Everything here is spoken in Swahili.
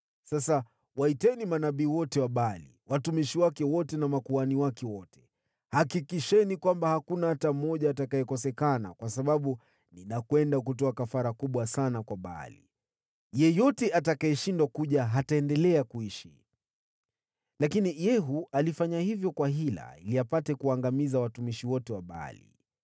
Sasa waiteni manabii wote wa Baali, watumishi wake wote na makuhani wake wote. Hakikisheni kwamba hakuna hata mmoja atakayekosekana, kwa sababu ninakwenda kutoa kafara kubwa sana kwa Baali. Yeyote atakayeshindwa kuja hataendelea kuishi.” Lakini Yehu alifanya hivyo kwa hila ili apate kuwaangamiza watumishi wote wa Baali.